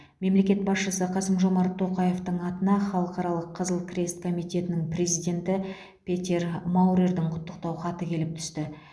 мемлекет басшысы қасым жомарт тоқаевтың атына халықаралық қызыл крест комитетінің президенті петер маурердің құттықтау хаты келіп түсті